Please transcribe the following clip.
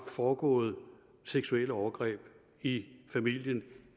foregået seksuelle overgreb i familien